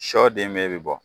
Sɔden bɛɛ be bɔ